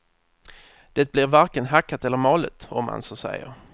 Det blir varken hackat eller malet, om man så säger.